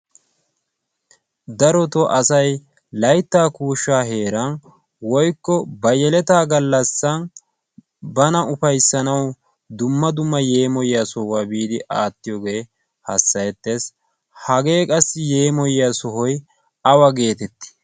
darotoo asa layttaa kuushsha heeran woykko ba yeletta galassan bana ufayssanaw dumma dumma yemmoyiya sohuwaa biidi aattiyooge erettees. hage qassi yeemmoyiya sohoy awa getetti?